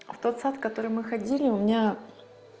в тот сад в который мы ходили у меня